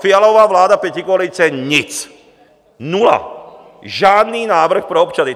Fialova vláda pětikoalice nic, nula, žádný návrh pro občany.